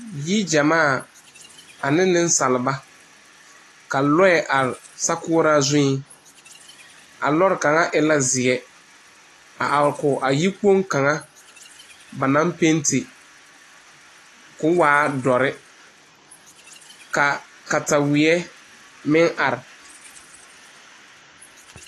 yie gyɛmaa ane niŋsaaba la be a kyɛ. Lɔɛ meŋ aree sokuɔraa zu.A lɔre kaŋ e la zeɛ a are kɔge yigboŋ kaŋa ba naŋ pente ka'o, waa duɔ kyɛ ka kataweɛ meŋ are